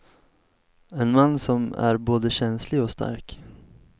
En man som är både känslig och stark.